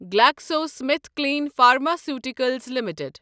GlaxoSmithKline pharmaceuticals limited